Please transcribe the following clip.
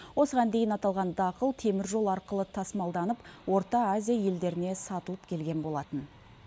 осыған дейін аталған дақыл темір жол арқылы тасымалданып орта азия елдеріне сатылып келген болатын